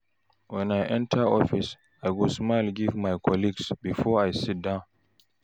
When I enter office, I go smile give my colleagues before I sit down.